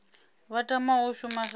vha tamaho u shuma sa